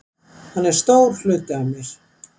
Hann er stór hluti af mér.